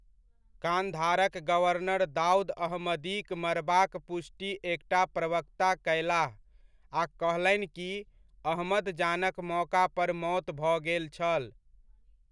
कान्धारक governor Daud अहमदीक मरबाक पुष्टि एकटा प्रवक्ता कयलाह आ कहलनि कि अहमद जानक मौका पर मौत भऽ गेल छल।